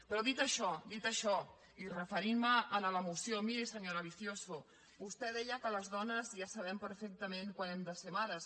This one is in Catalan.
però dit això dit això i referint me a la moció miri senyora vicioso vostè deia que les dones ja sabem perfectament quan hem de ser mares